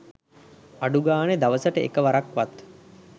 අඩුගානෙ දවසකට එක වරක්වත්